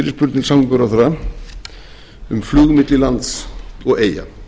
fyrirspurn til samgönguráðherra um flug milli lands og eyja